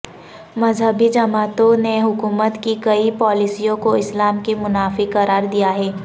مذہبی جماعتوں نے حکومت کی کئی پالیسیوں کو اسلام کے منافی قرار دیا ہے